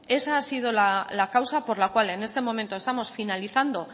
esa ha sido la causa por la cual en este momento estamos finalizando